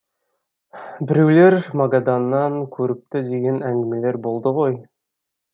біреулер магаданнан көріпті деген әңгімелер болды ғой